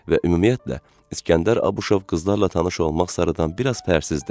Və ümumiyyətlə, İskəndər Abışov qızlarla tanış olmaq sarıdan biraz pərsizdir.